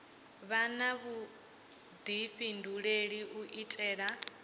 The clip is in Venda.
vha na vhuḓifhinduleli u itela